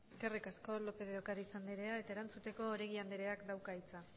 eskerrik asko lópez de ocariz andrea eta erantzuteko oregi andreak dauka hitza